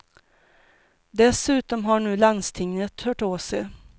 Dessutom har nu landstinget hört av sig.